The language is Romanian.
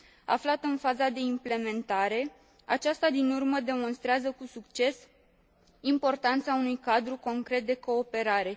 Aflată în faza de implementare, aceasta din urmă demonstrează cu succes importanța unui cadru concret de cooperare.